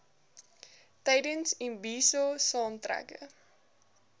tydens imbizo saamtrekke